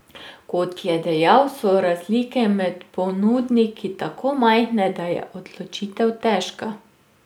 Kot je dejal, so razlike med ponudniki tako majhne, da je odločitev težka.